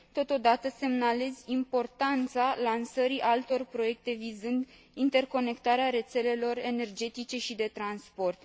Totodată, semnalez importanța lansării altor proiecte vizând interconectarea rețelelor energetice și de transport.